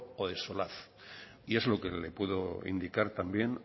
o y es lo que le puedo indicar